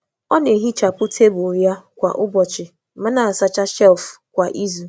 Ọ na-ehichapụ tebụl ya kwa ụbọchị, ma na-asacha shelf kwa izu.